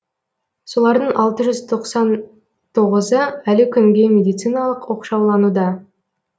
солардың алты жүз тоқсан тоғызы әлі күнге медициналық оқшаулануда